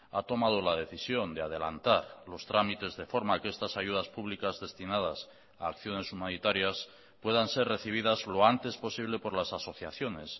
ha tomado la decisión de adelantar los trámites de forma que estas ayudas públicas destinadas a acciones humanitarias puedan ser recibidas lo antes posible por las asociaciones